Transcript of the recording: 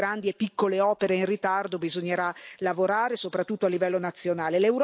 Sulle grandi e piccole opere in ritardo bisognerà lavorare soprattutto a livello nazionale.